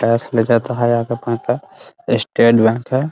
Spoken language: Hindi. स्टेट बैंक हैं ।